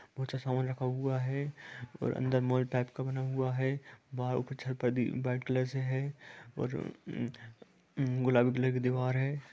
बहुत अच्छा सामान रखा हुआ है और अंदर मोबाइल टाइप का बना हुआ है वह व्हाइट कलर से है और गुलाबी कलर का दिवार है।